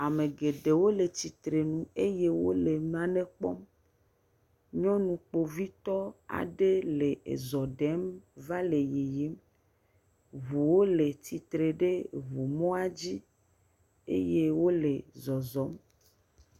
Ame geɖewo le tsitrenu eye wole nane kpɔm. Nyɔnu kpovitɔ aɖe le ezɔ ɖem va le yiyim. Ŋuwo le tsitre ɖe ŋu mɔa dzi eye wole zɔzɔm.